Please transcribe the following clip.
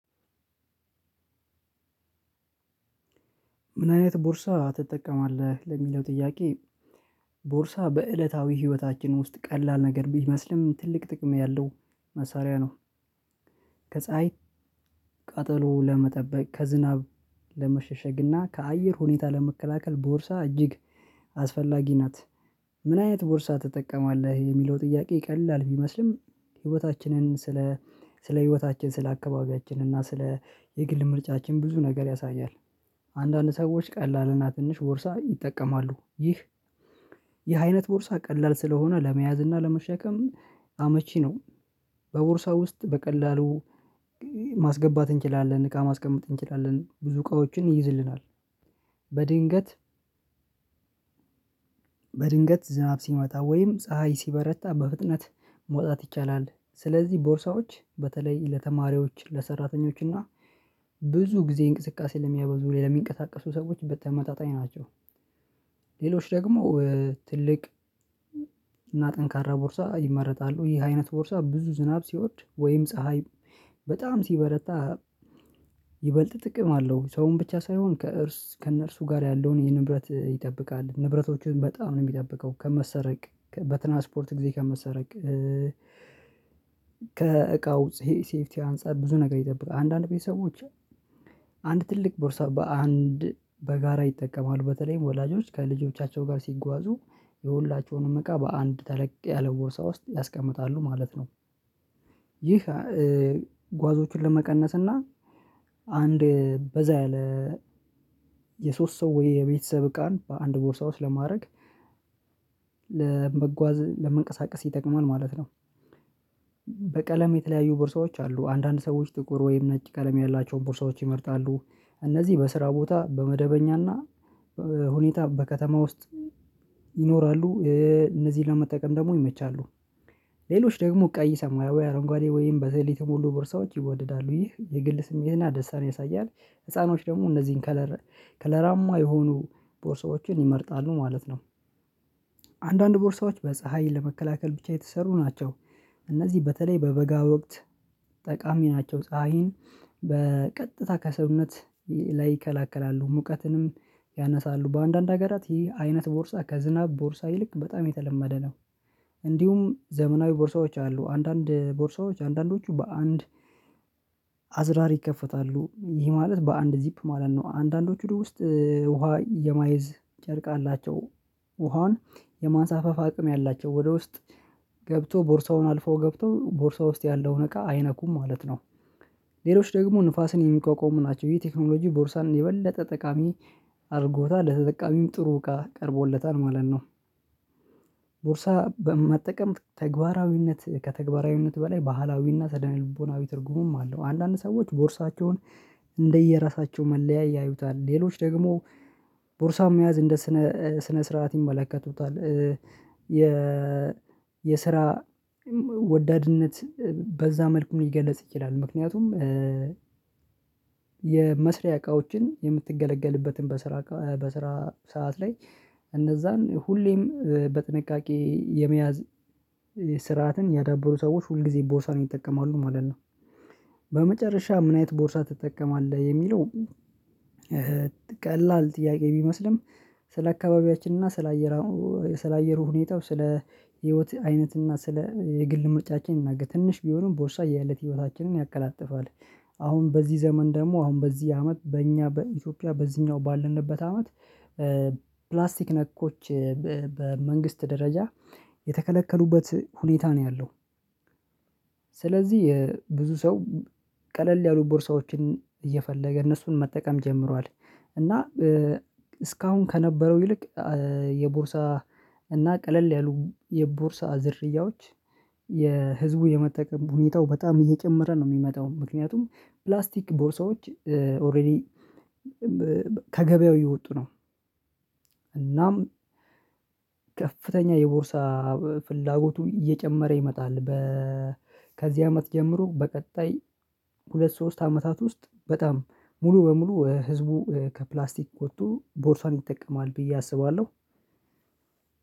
ምን አይነት ቦርሳ ትጠቀማለህ ለሚለው ጥያቄ? ቦርሳ በእለታዊ ህይወታችን ውስጥ ቀላል ነገር ቢመስልም ትልቅ ጥቅም ያለው መሳሪያ ነው። ከፀሀይ ቀጠሎ ለመጠበቅ ከዝናብ ለመሸሸግና ከአየር ሁኔታ ለመከላከል ቦርሳ እጅግ አስፈላጊ ናት። ምን አይነት ቦርሳ ትጠቀማለህ የሚለው ጥያቄ ቀላል ቢመስልም ህይወታችንን ስለ ስለ ህይወታችን ስለ አካባቢያችን እና ስለ የግል ምርጫችን ብዙ ነገር ያሳያል። አንዳንድ ሰዎች ቀላልና ትንሽ ወርሳ ይጠቀማሉ ይህ የአይነት ቦርሳ ቀላል ስለሆነ ለመያዝ እና ለመሸከም አመቺ ነው። በቦርሳ ውስጥ በቀላሉ ማስገባት እንችላለን እቃ ማስቀመጥ እንችላለን ብዙ እቃዎችን ይይዝልናል። በድንገት በድንገት ዝናብ አብ ሲመጣ ወይም ፀሀይ ሲበረታ በፍጥነት መውጣት ይቻላል። ስለዚህ ቦርሳዎች በተለይ ለተማሪዎች ለሰራተኞች እና ብዙ ጊዜ እንቅስቃሴ ለሚያበዙ ሌላ የሚንቀሳቀሱ ሰዎች በተመጣጣኝ ናቸው። ሌሎች ደግሞ ትልቅ እና ጠንካራ ቦርሳ ይመረጣሉ ይህ አይነት ቦርሳ ብዙ ዝናብ ሲወድ ወይም ፀሀይ በጣም ሲበረታ። ይበልጥ ጥቅም አለው ሰውን ብቻ ሳይሆን ከእርስ ከእነርሱ ጋር ያለውን የንብረት ይጠብቃል ንብረቶችን በጣም ነው የሚጠብቀው ከመሰረቅ በትራንስፖርት ጊዜ ከመሰረቅ ከእቃው ሴፍቲ አንፃር ብዙ ነገር ይጠብቃል። አንዳንድ ጊዜ ሰዎች አንድ ትልቅ ቦርሳ በአንድ በጋራ ይጠቀማሉ በተለይም ወላጆች ከልጆቻቸው ጋር ሲጓዙ የሁላቸውንም እቃ በአንድ ተለቅ ያለ ቦርሳ ውስጥ ያስቀምጣሉ ማለት ነው። ይህ ጓዞችን ለመቀነስ እና አንድ በዛ ያለ የሶስት ሰው ወይ የቤተሰብ ቃን በአንድ ቦርሳ ውስጥ ለማድረግ ለመጓዝ ለመንቀሳቀስ ይጠቅማል ማለት ነው። በቀለም የተለያዩ ቦርሳዎች አሉ አንዳንድ ሰዎች ጥቁር ወይም ነጭ ቀለም ያላቸውን ቦርሳዎች ይመርጣሉ እነዚህ በስራ ቦታ በመደበኛና ሁኔታ በከተማ ውስጥ ይኖራሉ እነዚህን ለመጠቀም ደግሞ ይመቻሉ። ሌሎች ደግሞ ቀይ ሰማያዊ አረንጓዴ ወይም በዘሌ ሞሉ ቦርሳዎች ይወድዳሉ ይህ የግል ስሜትና ደሳን ያሳያል። ህፃኖች ደግሞ እነዚህን ከለር ከለራማ የሆኑ ቦርሳዎችን ይመርጣሉ ማለት ነው። አንዳንድ ቦርሳዎች በፀሀይ ለመከላከል ብቻ የተሰሩ ናቸው። እነዚህ በተለይ በበጋ ወቅት ጠቃሚ ናቸው ፀሀይን በቀጥታ ከሰውነት ላይ ይከላከላሉ። ሙቀትንም ያነሳሉ በአንዳንድ ሀገራት ይህ አይነት ቦርሳ ከዝናብ ቦርሳ ይልቅ በጣም የተለመደ ነው። እንዲሁም ዘመናዊ ቦርሳዎች አሉ አንዳንድ ቦርሳዎች አንዳንዶቹ በአንድ አዝራር ይከፈታሉ ይህ ማለት በአንድ ዚፕ ማለት ነው። አንዳንዶቹ ውስጥ ውሃ የማይዝ ጨርቅ አላቸው ውሃውን የማንሳፈፍ አቅም ያላቸው ወደ ውስጥ ገብቶ ቦርሳውን አልፎ ገብቶ ቦርሳው ውስጥ ያለውን እቃ አይነኩም ማለት ነው። ሌሎች ደግሞ ንፋስን የሚቋቋሙ ናቸው ይሄ ቴክኖሎጂ ቦርሳን የበለጠ ጠቃሚ አድርጎታ ለተጠቃሚም ጥሩ እቃ ቀርቦለታል ማለት ነው። ቦርሳ በመጠቀም ተግባራዊነት ከተግባራዊነት በላይ ባህላዊና ስነ-ልቦናዊ ትርጉሙም አለው አንዳንድ ሰዎች ቦርሳቸውን እንደየራሳቸው መለያይ ያዩታል። ሌሎች ደግሞ ቦርሳው መያዝ እንደ ስነ ስርዓት ይመለከቱታል። የ የስራ ወዳድነት በዛ መልኩም ሊገለጽ ይችላል ምክንያቱም የመስሪያ እቃዎችን የምትገለገልበትን በስራ በስራ ሰዓት ላይ እነዛን ሁሌም በጥንቃቄ የመያዝ ስርዓትን ያዳበሩ ሰዎች ሁል ጊዜ ቦሳን ይጠቀማሉ ማለት ነው። በመጨረሻ ምን አይነት ቦርሳ ትጠቀማለህ? የሚለው ቀላል ጥያቄ ቢመስልም ስለ አካባቢያችን እና ስለ አየር ሁኔታው ስለ ህይወት አይነት እና ስለ የግል ምርጫችን ነገ ትንሽ ቢሆንም ቦርሳ የእለት ህይወታችንን ያቀላጥፋል። አሁን በዚህ ዘመን ደግሞ አሁን በዚህ አመት በእኛ በኢትዮጵያ በዚህኛው ባልንበት አመት ፕላስቲክ ነኮች በመንግስት ደረጃ የተከለከሉበት ሁኔታ ነው ያለው። ስለዚህ የብዙ ሰው ቀለል ያሉ ቦርሳዎችን እየፈለገ እነሱን መጠቀም ጀምሯል። እና እስካሁን ከነበረው ይልቅ የቦርሳ እና ቀለል ያሉ የቦርሳ ዝርያዎች የህዝቡ የመጠቀም ሁኔታው በጣም እየጨመረ ነው። የሚመጣው ምክንያቱም ፕላስቲክ ቦርሳዎች ኦሬዲ ከገበያው እየወጡ ነው። እናም ከፍተኛ የቦርሳ ፍላጎቱ እየጨመረ ይመጣል። በ ከዚህ አመት ጀምሮ በቀጣይ ሁለት ሶስት አመታት ውስጥ በጣም ሙሉ በሙሉ ህዝቡ ከፕላስቲክ ወጥቶ ቦርሳን ይጠቀማል ብዬ አስባለሁ።